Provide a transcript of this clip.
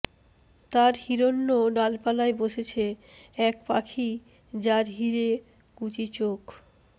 তার হিরণ্য ডালপালায় বসেছে এক পাখি যার হীরে কুচি চোখ